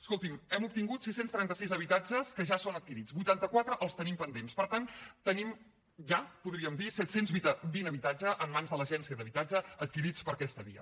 escolti’m hem obtingut sis cents i trenta sis habitatges que ja són adquirits vuitanta quatre els tenim pendents per tant tenim ja podríem dir set cents i vint habitatges en mans de l’agència de l’habitatge adquirits per aquesta via